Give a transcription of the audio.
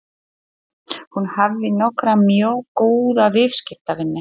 Hún hafði nokkra mjög góða viðskiptavini.